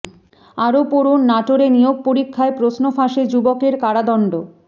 আরো পড়ুন নাটোরে নিয়োগ পরীক্ষায় প্রশ্ন ফাঁসে যুবকের কারাদণ্ড